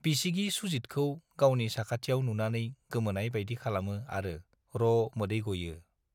बिसिगि सुजितखौ गावनि साखाथियाव नुनानै गोमोनाय बाइदि खालामो आरो र' मोदै गयो।